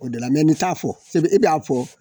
O de la mɛ nin t'a fɔ i b'a fɔ